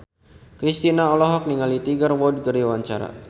Kristina olohok ningali Tiger Wood keur diwawancara